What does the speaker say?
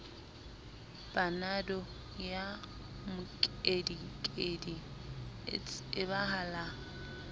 panado ya mokedikedi e tsebahala